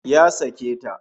Ya sake ta